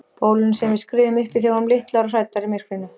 Bólinu sem við skriðum uppí þegar við vorum litlar og hræddar í myrkrinu.